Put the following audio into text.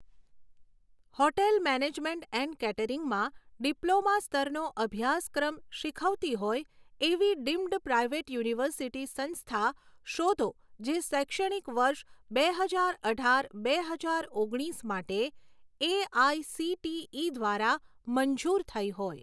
hotel management and કેટરિંગમાં diploma સ્તરનો અભ્યાસક્રમ શીખવતી હોય એવી ડીમ્ડ પ્રાઈવેટ યુનિવર્સિટી સંસ્થા શોધો જે શૈક્ષણિક વર્ષ બે હજાર અઢાર બે હજાર ઓગણીસ માટે A I C T E દ્વારા મંજૂર થઈ હોય